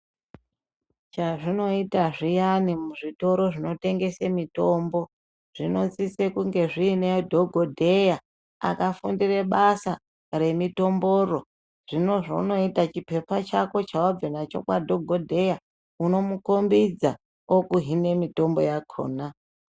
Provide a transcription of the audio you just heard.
Chazvinoite zviani ,muzvitoro zvinotengese mutombo, zvinosise kunge zvinedhogodheya akafundire basa remitomboyo, zvino zvaunoita chipepa chako chawabva nacho kwadhogodheya unomukhombidza okuhine mitombo yakona.